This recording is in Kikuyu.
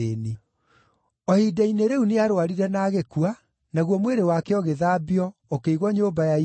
O ihinda-inĩ rĩu nĩarũarire na agĩkua, naguo mwĩrĩ wake ũgĩthambio, ũkĩigwo nyũmba ya igũrũ.